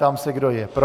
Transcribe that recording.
Ptám se, kdo je pro.